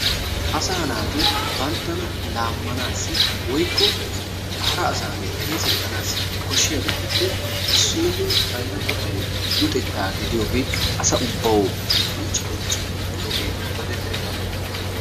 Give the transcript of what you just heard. Asaa naati banttana laammanaassi woykko hara asaani xeesettanaassi koshshiyabatuppe issoy bayra qofay luxettaa gidiyogee asa ubbaassi qoncci qoncci biyogee dogettennaba.